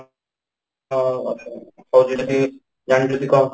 ଅ ହଉ ଯଦି ଜାଣିଛ ଯଦି କହ